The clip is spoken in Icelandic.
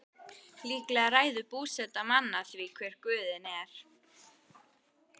Líklega ræður búseta manna því hver guðinn er.